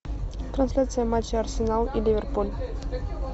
трансляция матча арсенал и ливерпуль